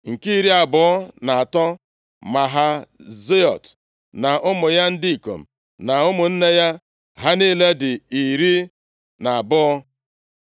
Nke iri abụọ na atọ, Mahaziot na ụmụ ya ndị ikom na ụmụnne ya. Ha niile dị iri na abụọ (12).